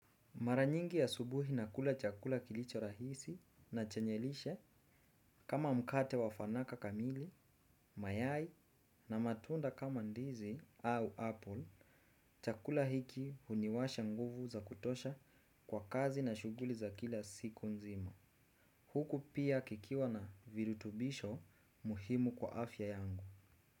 Mara nyingi asubuhi nakula chakula kilicho rahisi na chenye lishe kama mkate wafanaka kamili, mayai na matunda kama ndizi au apple chakula hiki huniwasha nguvu za kutosha kwa kazi na shughuli za kila siku nzima. Huku pia kikiwa na virutubisho muhimu kwa afya yangu.